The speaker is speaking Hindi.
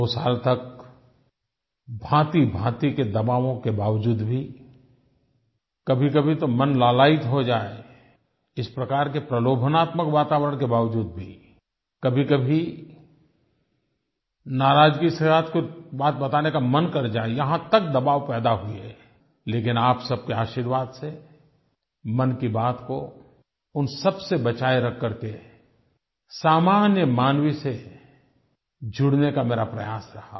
2 साल तक भाँतिभाँति के दबावों के बावजूद भी कभीकभी तो मन लालायित हो जाए इस प्रकार के प्रलोभनात्मक वातावरण के बावजूद भी कभीकभी नाराज़गी के साथ कुछ बात बताने का मन कर जाए यहाँ तक दबाव पैदा हुए लेकिन आप सब के आशीर्वाद से मन की बात को उन सब से बचाए रख कर के सामान्य मानव से जुड़ने का मेरा प्रयास रहा